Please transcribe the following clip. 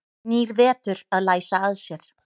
Nýr vetur að læsa að sér.